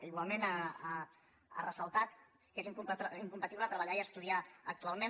igualment ha fet ressaltar que és incompatible treballar i estudiar actualment